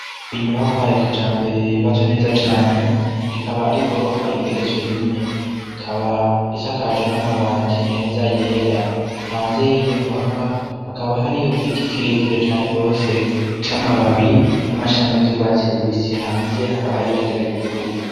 Inyubako ya kijambere yubatse neza cane, ikaba ari igorofa igeretswe rimwe, ikaba isakaje n'amabati meza yera, hanze y'iyo nyubakwa hakaba hariyo igiti kirekire cane gose c'amababi n'amashami vy'urwatsi rubisi, hanze hakaba hari ibendera ry'igihugu.